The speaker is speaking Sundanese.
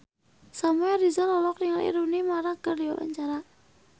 Samuel Rizal olohok ningali Rooney Mara keur diwawancara